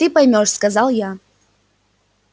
ты поймёшь сказал я